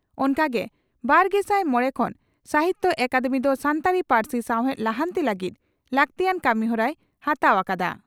ᱚᱱᱠᱟᱜᱮ ᱵᱟᱨᱜᱮᱥᱟᱭ ᱢᱚᱲᱮ ᱠᱷᱚᱱ ᱥᱟᱦᱤᱛᱭᱚ ᱟᱠᱟᱫᱮᱢᱤ ᱫᱚ ᱥᱟᱱᱛᱟᱲᱤ ᱯᱟᱹᱨᱥᱤ ᱥᱟᱣᱦᱮᱫ ᱞᱟᱦᱟᱱᱛᱤ ᱞᱟᱹᱜᱤᱫ ᱞᱟᱹᱠᱛᱤᱭᱟᱱ ᱠᱟᱹᱢᱤᱦᱚᱨᱟᱭ ᱦᱟᱛᱟᱣ ᱟᱠᱟᱫᱼᱟ ᱾